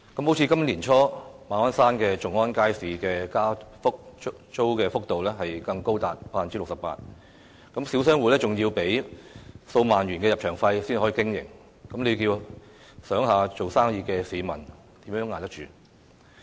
例如今年年初，馬鞍山頌安街市的加租幅度更高達 68%， 小商戶要繳付數萬元入場費才可經營，試想想做小生意的市民如何捱得住？